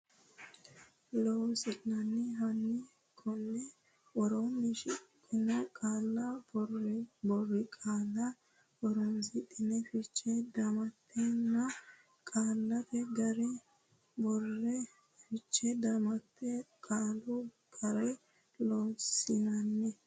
Loossinanni hanni konni woroonni shiqqino qaalla boriqaalla horonsidhine fiche damattenna qaallate ga re borree Fiche Damatte Qaalu ga re Loossinanni.